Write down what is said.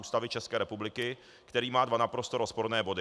Ústavy České republiky, který má dva naprosto rozporné body.